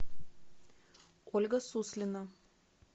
ольга суслина